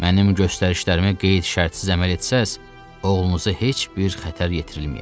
Mənim göstərişlərimə qeyd-şərtsiz əməl etsəz, oğlunuza heç bir xətər yetirilməyəcək.